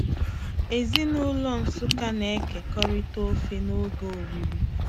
Ezinaụlọ Nsukka na-ekekọrịta ofe noge oriri.